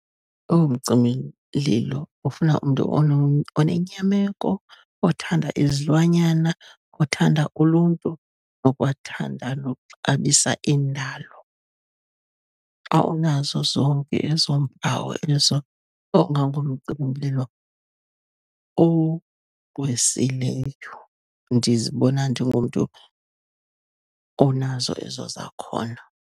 Omcimimlilo ufuna umntu onenyameko, othanda izilwanyana, othanda uluntu, nokwathanda nokuxabisa indalo. Xa unazo zonke ezo mpawu ezo ungangumcimimlilo ogqwesileyo. Ndizibona ndingumntu onazo ezo zakhono.